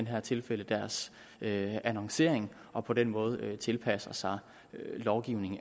her tilfælde deres annoncering og på den måde tilpasse sig lovgivningen